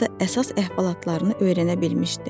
əsas əhvalatlarını öyrənmişdi.